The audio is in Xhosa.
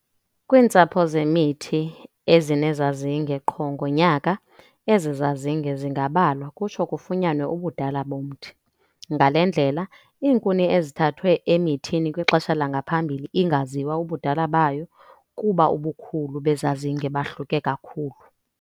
Kwntsapho zemithi ezinezazinge qho ngonyaka, ezi zazinge zingabalwa kutsho kufunyanwe ubudala bomthi. Ngale ndlela, iinkuni ezithathwe emithini kwixesha langaphambili ingaziwa ubudala bayo, kuba ubukhulu bezazinge bahluke kakhulu.